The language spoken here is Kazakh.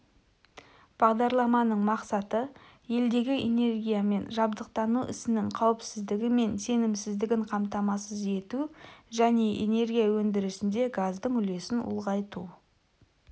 бағдарламаның мақсаты-елдегі энергиямен жабдықтау ісінің қауіпсіздігі мен сенімсіздігін қамтамасыз ету және энергия өндірісінде газдың үлесін ұлғайту